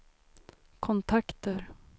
kontakter